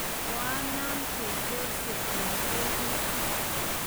koanam kochorsei eng' tebutik